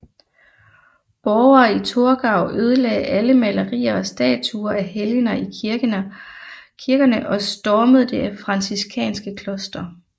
Borgere i Torgau ødelagde alle malerier og statuer af helgener i kirkerne og stormede det franciskanske kloster